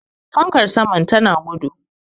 fankar saman tana gudu